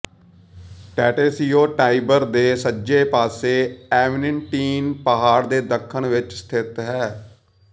ਟੇਟੇਸੀਓ Tiber ਦੇ ਸੱਜੇ ਪਾਸੇ ਐਵੇਨਟੀਨ ਪਹਾੜ ਦੇ ਦੱਖਣ ਵਿੱਚ ਸਥਿਤ ਹੈ